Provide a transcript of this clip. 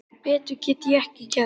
Betur get ég ekki gert.